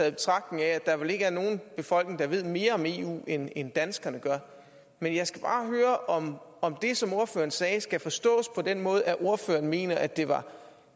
i betragtning af at der vel ikke er nogen befolkning der ved mere om eu end end danskerne gør men jeg skal bare høre om om det som ordføreren sagde skal forstås på den måde at ordføreren mener at det var